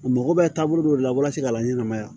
U mago bɛ taabolo dɔ de la walasa ka laɲɛnmaya